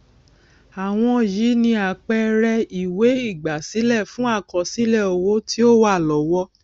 àwọn yìí ni àpẹẹrẹ ìwé ígbásílẹ fun àkọsílẹ owo tí o wa lọwo